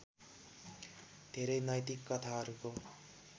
धेरै नैतिक कथाहरूको